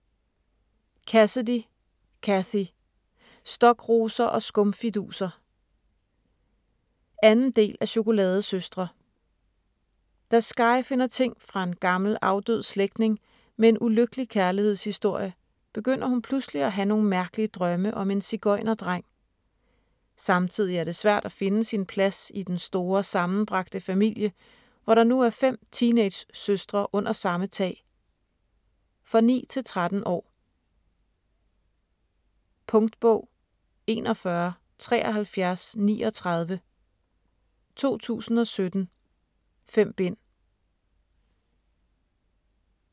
Cassidy, Cathy: Stokroser og skumfiduser 2. del af Chokoladesøstre. Da Skye finder ting fra en gammel afdød slægtning med en ulykkelig kærlighedshistorie, begynder hun pludselig at have nogle mærkelige drømme om en sigøjnerdreng. Samtidig er det svært at finde sin plads i den store sammenbragte familie, hvor der nu er 5 teenagesøstre under samme tag. For 9-13 år. Punktbog 417339 2017. 5 bind.